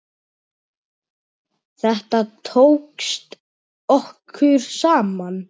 Þetta tókst okkur saman.